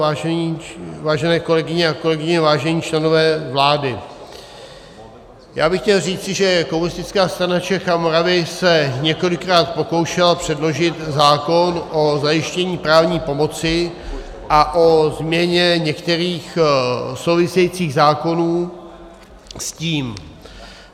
Vážené kolegyně a kolegové, vážení členové vlády, já bych chtěl říci, že Komunistická strana Čech a Moravy se několikrát pokoušela předložit zákon o zajištění právní pomoci a o změně některých souvisejících zákonů s tím.